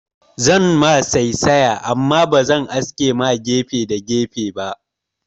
Zan ma saisaya amma bazan aske ma gefe da gefe ba